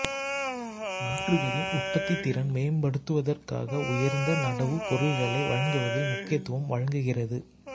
நாற்றுகளின் உற்பத்தித்திறனை மேம்படுத்துவதற்காக உயர்ந்த நடவுப் பொருட்களை வழங்குவதில் முக்கியத்துவம் வழங்குகிறது